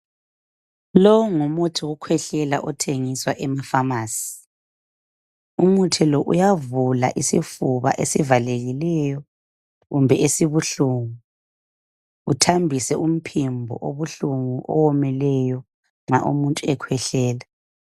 Lowo ngumuthi wokukwehlela othengiswa emafamasi umuthi lo uyavula isifuba esivalekileyo kumbe esibuhlungu otambise umphimbo obuhlungu owomileyo nxa umuntu ekwehlela